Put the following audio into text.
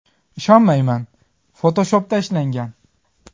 Ishonmayman: Photoshop’da ishlangan!.